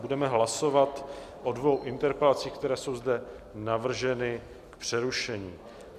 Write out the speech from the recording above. Budeme hlasovat o dvou interpelacích, které jsou zde navrženy k přerušení.